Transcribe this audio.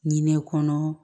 Ɲinɛ kɔnɔ